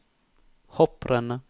hopprennet